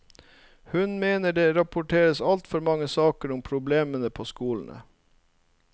Hun mener det rapporteres altfor mange saker om problemer på skolene.